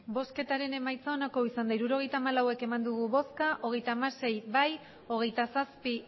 emandako botoak hirurogeita hamalau bai hogeita hamasei ez hogeita zazpi